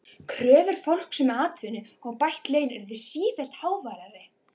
Kröfur fólks um atvinnu og bætt laun urðu sífellt háværari.